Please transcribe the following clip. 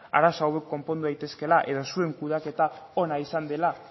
arazo hauek konpondu daitezkeela eta zuen kudeaketa ona izan dela